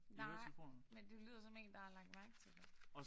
Nej men du lyder som én der har lagt mærke til det